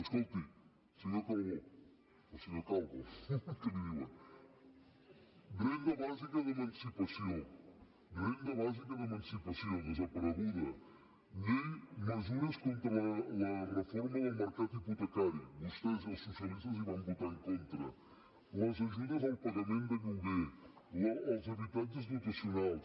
escolti senyor calbó o senyor calvo que li diuen renda bàsica d’emancipació renda bàsica d’emancipació desapareguda llei de mesures contra la reforma del mercat hipotecari vostès i els socialistes hi van votar en contra les ajudes al pagament de lloguer els habitatges dotacionals